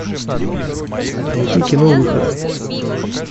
найти кино выход